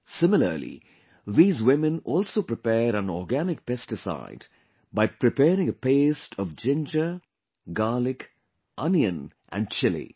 Similarly, these women also prepare an organic pesticide by preparing a paste of ginger, garlic, onion and chilli